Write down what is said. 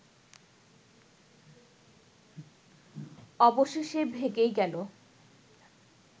অবশেষে ভেঙেই গেলো